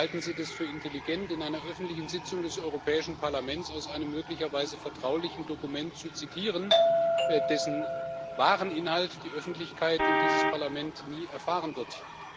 Aber halten Sie das für intelligent, in einer öffentlichen Sitzung des Europäischen Parlaments aus einem möglicherweise vertraulichen Dokument zu zitieren, dessen wahren Inhalt die Öffentlichkeit und dieses Parlament nie erfahren werden?